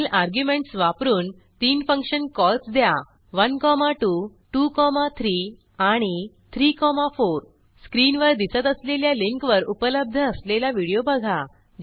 पुढील अर्ग्युमेंटस वापरून तीन फंक्शन कॉल्स द्या 1 2 2 3 आणि 3 4 स्क्रीनवर दिसत असलेल्या लिंकवर उपलब्ध असलेला व्हिडिओ बघा